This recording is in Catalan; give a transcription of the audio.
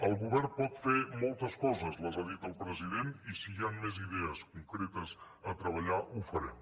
el govern pot fer molts coses les ha dites el president i si hi ha més idees concretes a treballar ho farem